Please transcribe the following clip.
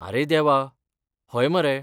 आरे देवा, हय मरे!